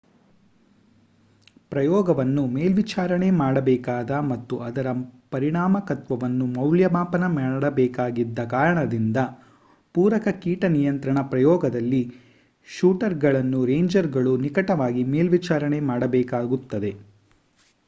ಪ್ರಯೋಗವನ್ನು ಮೇಲ್ವಿಚಾರಣೆ ಮಾಡಬೇಕಾದ ಮತ್ತು ಅದರ ಪರಿಣಾಮಕಾರಿತ್ವವನ್ನು ಮೌಲ್ಯಮಾಪನ ಮಾಡಬೇಕಾಗಿದ್ದ ಕಾರಣದಿಂದ ಪೂರಕ ಕೀಟ ನಿಯಂತ್ರಣ ಪ್ರಯೋಗದಲ್ಲಿ ಶೂಟರ್‌ಗಳನ್ನು ರೇಂಜರ್‌ಗಳು ನಿಕಟವಾಗಿ ಮೇಲ್ವಿಚಾರಣೆ ಮಾಡಬೇಕಾಗಿತ್ತು